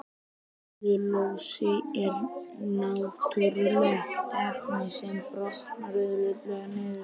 Sellulósi er náttúrulegt efni sem brotnar auðveldlega niður.